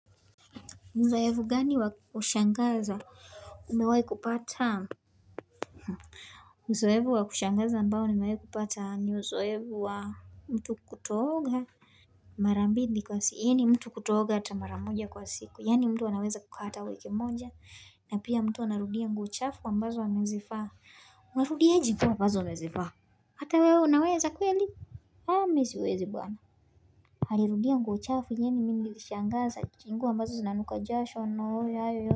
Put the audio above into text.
Uzoefu gani wa kushangaza umewai kupata uzoefu wa kushangaza ambao nimewai kupata ni uzoefu wa mtu kutooga marambili kwa siku yani mtu kutooga hatamara moja kwa siku yani mtu anaweza kukaa wiki moja na pia mtu anarudia nguo chafu ambazo amezivaa Unarudieji nguo ambazo umezivaa hata wewe unaweza kweli mimi siwezi bwana alirudia nguo chafu yenyewe mimi nilishangaza ni nguo ambazo zinanuka jasho n.